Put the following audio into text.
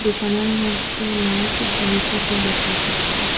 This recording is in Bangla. দোকানের মধ্যে লাইট জ্বলিতেসে দেখা যাচ্ছে।